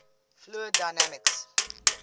fluid dynamics